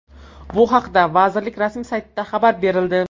Bu haqda vazirlik rasmiy saytida xabar berildi .